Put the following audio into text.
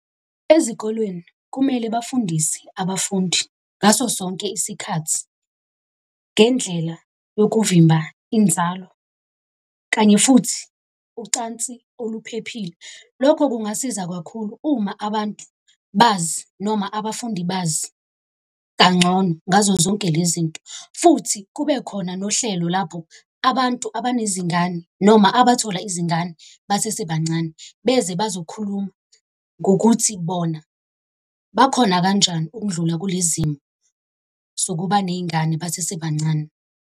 Ezikolweni kumele bafundise abafundi ngaso sonke isikhathi ngendlela yokuvimba inzalo kanye futhi ucansi oluphephile. Lokho kungasiza kakhulu uma abantu bazi noma abafundi bazi kangcono ngazo zonke lezi nto, futhi kube khona nohlelo lapho abantu abanezingane noma abathola izingane basesebancane beze bazokhuluma ngokuthi bona bakhona kanjani ukundlula kulezimo zokuba ney'ngane basesebancane.